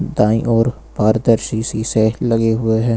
दाईं ओर पारदर्शी शीशे लगे हुए हैं।